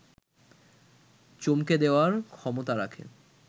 চমকে দেয়ার ক্ষমতা রাখে